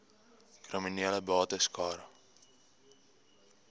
kriminele bates cara